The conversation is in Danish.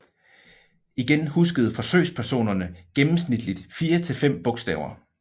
Igen huskede forsøgspersonerne gennemsnitligt 4 til 5 bogstaver